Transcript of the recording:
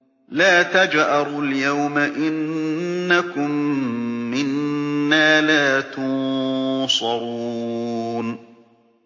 لَا تَجْأَرُوا الْيَوْمَ ۖ إِنَّكُم مِّنَّا لَا تُنصَرُونَ